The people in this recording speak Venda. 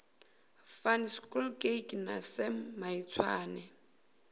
van schalkwyk na sam maitswane